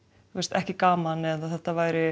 ekki gaman eða þetta væri